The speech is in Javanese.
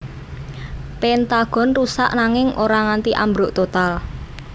Pentagon rusak nanging ora nganti ambruk total